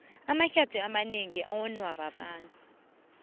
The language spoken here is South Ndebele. amahlath amanengi awonwa babantu